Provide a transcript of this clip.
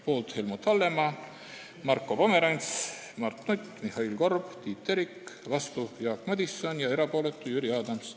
Poolt olid Helmut Hallemaa, Marko Pomerants, Mart Nutt, Mihhail Korb ja Tiit Terik, vastu oli Jaak Madison ja erapooletuks jäi Jüri Adams.